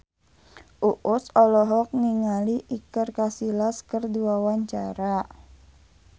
Uus olohok ningali Iker Casillas keur diwawancara